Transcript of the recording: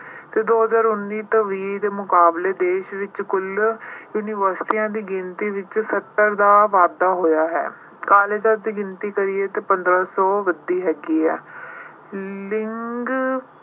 ਤੇ ਦੋ ਹਜ਼ਾਰ ਉੱਨੀ ਤੇ ਵੀਹ ਦੇ ਮੁਕਾਬਲੇ ਦੇਸ਼ ਵਿੱਚ ਕੁੱਲ universities ਦੀ ਗਿਣਤੀ ਵਿੱਚ ਸੱਤਰ ਦਾ ਵਾਧਾ ਹੋਇਆ ਹੈ। colleges ਦੀ ਗਿਣਤੀ ਕਹੀਏ ਤਾਂ ਪੰਦਰਾਂ ਸੌ ਵਧੀ ਹੈਗੀ ਆ। ਲਿੰਗ ਅਹ